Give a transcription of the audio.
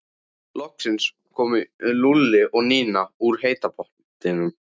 Loks komu Lúlli og Nína úr heita pottinum.